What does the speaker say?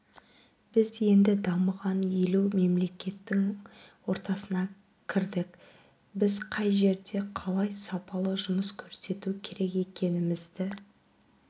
біз енді дамыған елу мемлекеттің ортасына кірдік біз қай жерде қалай сапалы жұмыс көрсету керек екенімізді